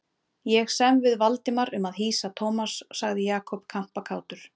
Ég sem við Valdimar um að hýsa Thomas sagði Jakob kampakátur.